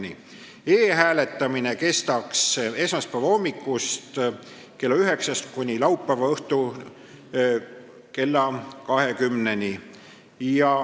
E-hääletamine kestaks esmaspäeva hommikul kella 9-st kuni laupäeva õhtul kella 20-ni.